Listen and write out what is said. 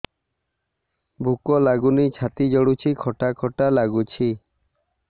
ଭୁକ ଲାଗୁନି ଛାତି ଜଳୁଛି ଖଟା ଖଟା ଲାଗୁଛି